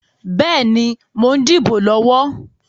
Bẹ́ẹ̀ni, mo ń dìbò lọ́wọ́.